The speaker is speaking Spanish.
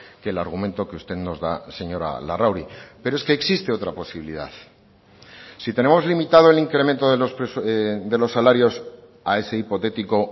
que el argumento que usted nos da señora larrauri pero es que existe otra posibilidad si tenemos limitado el incremento de los salarios a ese hipotético